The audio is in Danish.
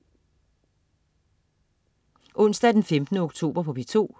Onsdag den 15. oktober - P2: